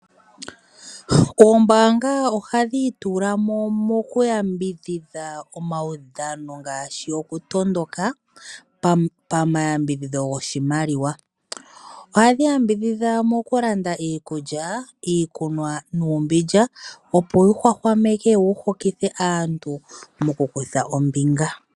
Oombanga ohadhi iitulamo moku yambidhidha omaudhano ngashi oku tondoka pa mayambidhidho gwoshimaliwa. Ohadhi yambidhidha moku landa iikulya ,iikunwa nuumbindja opo wu hwahwameke nowu hokithe aantu moku kutha ombinga.